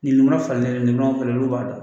Nin ma falen olu b'a dɔn